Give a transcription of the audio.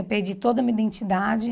Eu perdi toda a minha identidade.